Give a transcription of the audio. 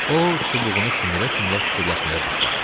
O, çubuğunu sümürə-sümürə fikirləşməyə başladı.